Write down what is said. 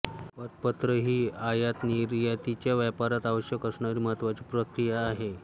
पतपत्र ही आयात निर्यातीच्या व्यापारात आवश्यक असणारी महत्त्वाची प्रक्रिया आहे